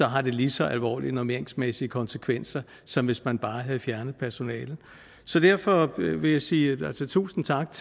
har det lige så alvorlige normeringsmæssige konsekvenser som hvis man bare havde fjernet personalet så derfor vil jeg sige tusind tak